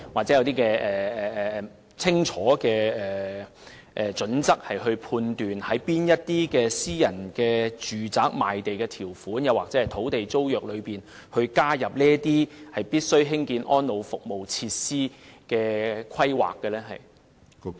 是否訂有清楚準則，以決定在哪些私人住宅項目的賣地條款或土地租約加入興建安老服務設施的規定？